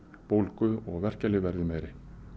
bólgu og verkjalyf verði meiri